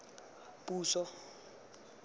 puso